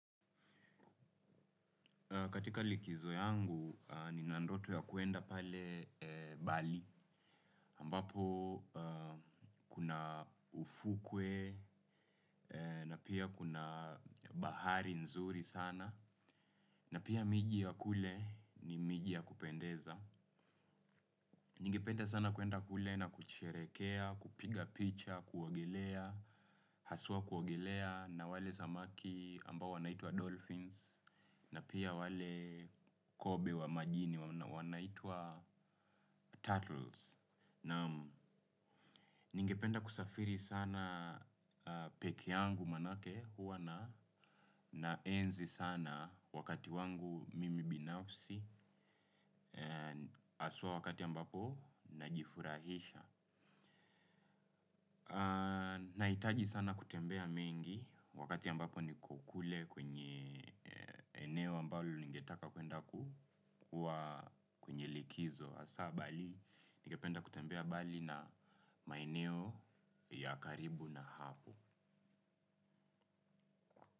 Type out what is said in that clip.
Katika likizo yangu ninandoto ya kwenda pale. Bali ambapo kuna ufukwe na pia kuna bahari nzuri sana na pia miji wa kule ni mini ya kupendeza. Ningependa sana kuenda kule na kusherehekea, kupiga picha, kuogelea, haswa kuogelea na wale samaki ambao wanaitwa Dolphins na pia wale kobe wa majini wanaitwa Turtles. Naam ningependa kusafiri sana pekee yangu manake huwa na na enzi sana wakati wangu mimi binafsi haswa wakati ambapo najifurahisha. Nahitaji sana kutembea mingi wakati ambapo nikokule kwenye eneo ambalo ningetaka kwenda kukuwa kwenye likizo hasa Bali ningependa kutembea bali na maeneo ya karibu na hapo.